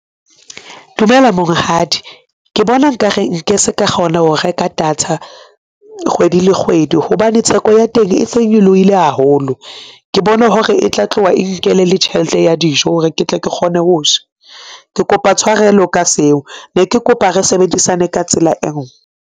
Dumela monghadi, ke bona nka re nke se ka kgona ho reka data kgwedi le kgwedi hobane theko ya teng e se nyolohile haholo. Ke bona hore e tla tloha e nkele le tjhelete ya dijo hore ke tle ke kgone ho ja. Ke kopa tshwarelo ka seo ne ke kopa re sebedisane ka tsela e nngwe.